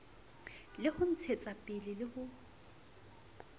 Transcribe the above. le ho ntshetsapele le ho